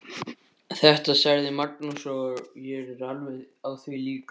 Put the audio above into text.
Þetta sagði Magnús og ég er alveg á því líka.